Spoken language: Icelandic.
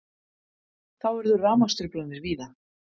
Þá urðu rafmagnstruflanir víða